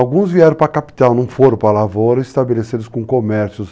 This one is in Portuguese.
Alguns vieram para a capital, não foram para a lavoura, estabeleceram-se com comércios.